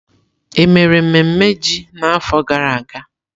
Emere mmemme ji n'afọ gara aga?